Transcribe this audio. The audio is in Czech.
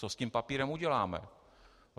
Co s tím papírem uděláme?